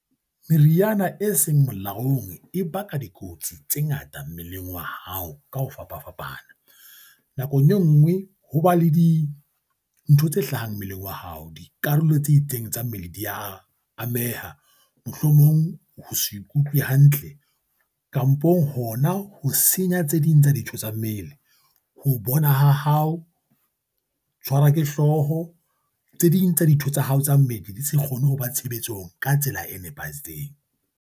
Meriana e seng molaong e baka dikotsi tse ngata mmeleng wa hao ka ho fapafapana. Nakong e nngwe ho ba le di ntho tse hlahang mmeleng wa hao. Dikarolo tse itseng tsa mmele di a ameha. Mohlomong ho sa ikutlwe hantle kampong hona ho senya tse ding tsa dintho tsa mmele. Ho bona ha hao. Ho tshwarwa ke hlooho. Tse ding tsa dintho tsa hao tsa mmele di se kgone ho ba tshebetsong ka tsela e nepahetseng.